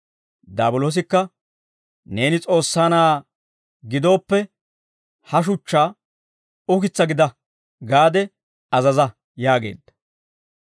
Daabiloosikka, «Neeni S'oossaa Na'aa gidooppe ha shuchchaa, ‹Ukitsaa gida› gaade azaza» yaageedda.